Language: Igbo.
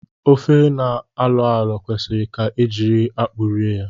Ofe na-alọ alọ kwesịrị ka e jiri akpụ rie ya